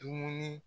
Dumuni